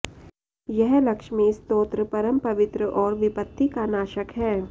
यह लक्ष्मी स्तोत्र परम पवित्र और विपत्ति का नाशक है